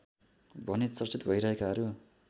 भनी चर्चित भइरहेकाहरू